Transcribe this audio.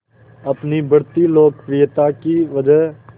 अपनी बढ़ती लोकप्रियता की वजह